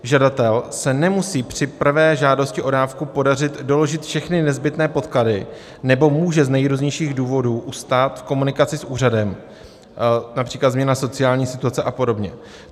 Žadateli se nemusí při prvé žádosti o dávku podařit doložit všechny nezbytné podklady nebo může z nejrůznějších důvodů ustat v komunikaci s úřadem, například změna sociální situace a podobně.